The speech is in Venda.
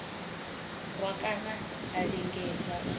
rwa kana a lingedza u